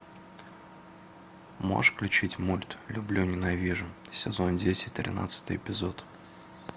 можешь включить мульт люблю ненавижу сезон десять тринадцатый эпизод